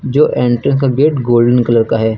जो एंट्रेंस का gate golden colour का है।